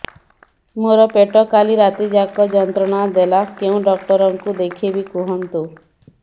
ମୋର ପେଟ କାଲି ରାତି ଯାକ ଯନ୍ତ୍ରଣା ଦେଲା କେଉଁ ଡକ୍ଟର ଙ୍କୁ ଦେଖାଇବି କୁହନ୍ତ